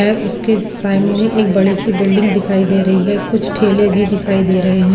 है उसके सामने एक बड़ी सी बिल्डिंग दिखाई दे रही है कुछ ठेले भी दिखाई दे रहे हैं।